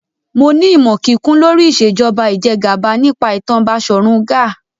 Mo ní ìmọ̀ kíkún lórí Ìṣèjọba Ìjẹgàba nípa ìtàn Basọ̀run Gáà